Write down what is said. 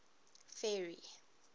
ferry